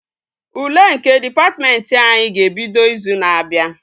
Ule nke dịpatmentị anyị ga-ebido izu na-abịa